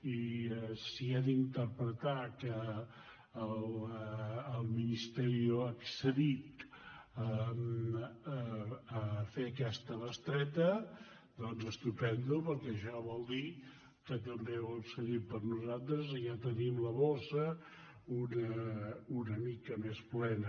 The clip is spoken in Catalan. i si he d’interpretar que el ministerio ha accedit a fer aquesta bestreta doncs estupend perquè això vol dir que també hi ha accedit per a nosaltres i ja tenim la bossa una mica més plena